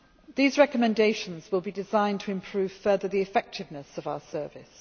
These recommendations will be designed to improve further the effectiveness of our service.